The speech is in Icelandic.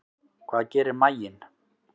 Hvað gerir maginn?